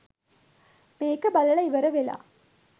මේක බලලා ඉවර වෙලා